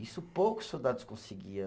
Isso poucos soldados conseguia.